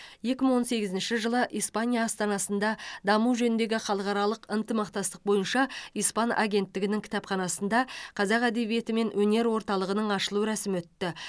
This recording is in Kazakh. екі мың он сегізінші жылы испания астанасында даму жөніндегі халықаралық ынтымақтастық бойынша испан агенттігінің кітапханасында қазақ әдебиеті мен өнер орталығының ашылу рәсімі өтті